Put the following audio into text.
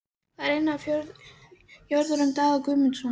Það var ein af jörðum Daða Guðmundssonar.